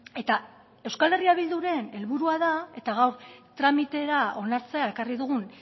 eta euskal herria bilduren helburua da eta gaur tramitera onartzea ekarri dugun